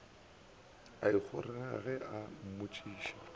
a ikgonere ge a mmontšha